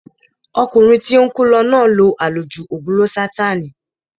Ọkùnrin tí ó ń kú lọ náà lo àlòjù ògùn lósátáànì